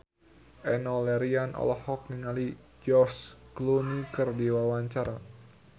Enno Lerian olohok ningali George Clooney keur diwawancara